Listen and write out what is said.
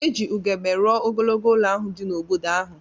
E ji ugegbe rụọ ogologo ụlọ ahụ dị n’obodo ahụ.